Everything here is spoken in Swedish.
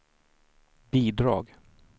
bidrag